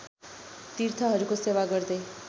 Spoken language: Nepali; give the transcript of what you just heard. तीर्थहरूको सेवा गर्दै